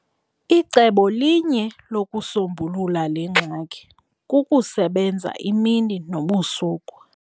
Icebo linye lokusombulula le ngxaki kukusebenza imini nobusuku.